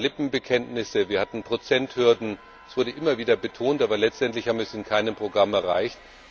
Es waren Lippenbekenntnisse, wir hatten Prozenthürden, es wurde immer wieder betont, aber letztendlich haben wir das in keinem Programm erreicht.